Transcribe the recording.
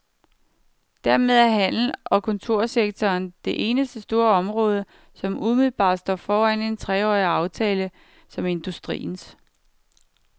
Dermed er handel- og kontorsektoren det eneste store område, som umiddelbart står foran en treårig aftale som industriens.